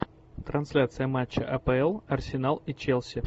трансляция матча апл арсенал и челси